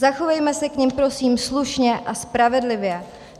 Zachovejme se k nim prosím slušně a spravedlivě.